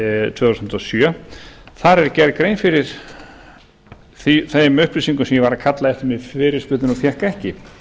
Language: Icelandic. tvö þúsund og sjö þar er gerð grein fyrir þeim upplýsingum sem ég var að kalla eftir með fyrirspurn og fékk ekki